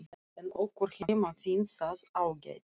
En okkur heima finnst það ágætt.